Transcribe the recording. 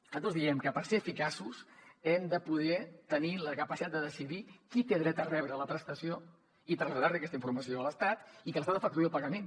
nosaltres diem que per ser eficaços hem de poder tenir la capacitat de decidir qui té dret a rebre la prestació i traslladar li aquesta informació a l’estat i que l’estat efectuï el pagament